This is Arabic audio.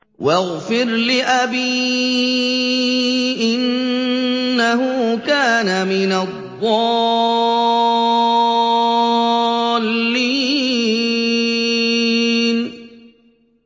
وَاغْفِرْ لِأَبِي إِنَّهُ كَانَ مِنَ الضَّالِّينَ